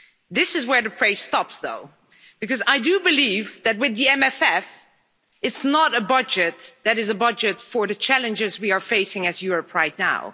This is where the praise stops though, because I do believe that with the MFF it's not a budget that is a budget for the challenges we are facing as Europe right now.